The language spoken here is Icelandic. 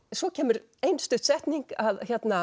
svo kemur ein stutt setning að